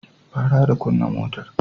Fara da kunna motar.